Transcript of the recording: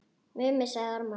Mummi sagði ormar.